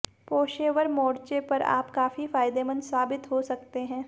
पोशेवर मोर्चे पर आप काफी फायदेमंद साबित हो सकते है